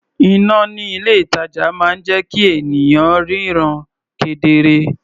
Iná ní ilé-ìtàjà máa ń jẹ́ kí ènìyàn ríran kedere.